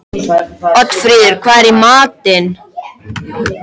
Oddfríður, hvað er í matinn?